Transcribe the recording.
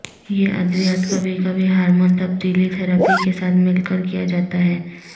یہ ادویات کبھی کبھی ہارمون تبدیلی تھراپی کے ساتھ مل کر کیا جاتا ہے